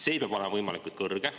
See peab olema võimalikult kõrge.